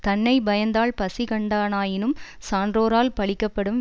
தன்னை பயந்தாள் பசிகண்டானாயினும் சான்றோரால் பழிக்கப்படும்